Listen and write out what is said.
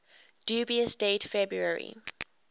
dubious date february